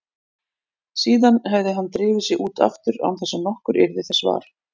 Síðan hefði hann drifið sig út aftur án þess að nokkur yrði þessa var.